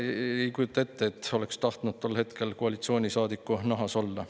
Ei kujuta ette, et oleks tahtnud tol hetkel koalitsioonisaadiku nahas olla.